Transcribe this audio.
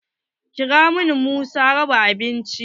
Kira min masu raba abinci!